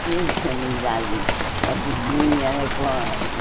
Fiz amizade com a vizinha, né? Com a eh